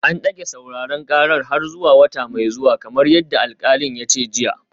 An dage sauraren karar har zuwa wata mai zuwa kamar yadda alkalin ya ce jiya